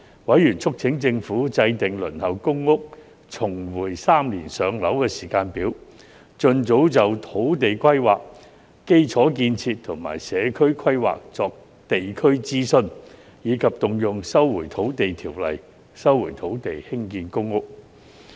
委員促請政府制訂"輪候公屋重回3年上樓"時間表；盡早就土地規劃、基礎建設及社區規劃作地區諮詢；以及動用《收回土地條例》收回土地興建公屋。